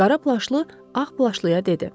Qara plaşlı ağ plaşlıya dedi: